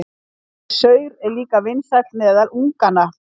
Þessi saur er líka vinsæll meðal unganna.